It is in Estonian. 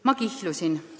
Ma kihlusin.